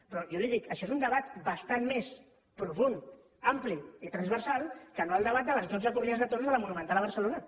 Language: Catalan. però jo li dic això és un debat bastant més profund ampli i transversal que no el debat de les dotze corrides de toros a la monumental de barcelona